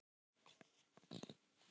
Ó, hjálpi mér Guð!